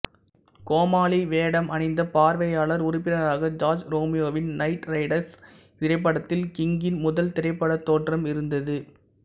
கோமாளி வேடம் அணிந்த பார்வையாளர் உறுப்பினராக ஜார்ஜ் ரோமியோவின் நைட்ரைடர்ஸ் திரைப்படத்தில் கிங்கின் முதல் திரைப்படத் தோற்றம் இருந்தது